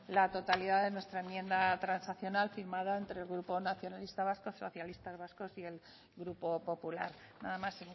la totalidad de nuestra enmienda transaccional firmada entre el grupo nacionalista vasco socialistas vascos y el grupo popular nada más